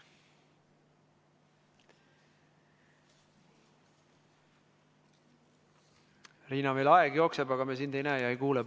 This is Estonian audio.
Riina, meil aeg jookseb, aga me ei näe ega kuule sind.